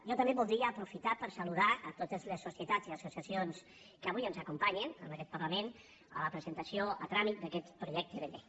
jo també voldria aprofitar per saludar totes les societats i associacions que avui ens acompanyen en aquest parlament en la presentació a tràmit d’aquest projecte de llei